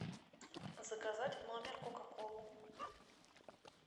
заказать в номер кока колу